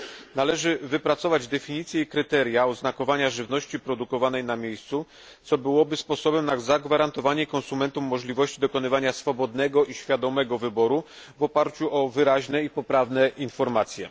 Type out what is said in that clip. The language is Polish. Należy wypracować definicje i kryteria oznakowania żywności produkowanej na miejscu, co byłoby sposobem na zagwarantowanie konsumentom możliwości dokonywania swobodnego i świadomego wyboru w oparciu o wyraźne i poprawne informacje.